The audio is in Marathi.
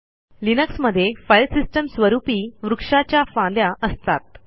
लिनक्समध्ये फाईल सिस्टीमस्वरूपी वृक्षाच्या फांद्या असतात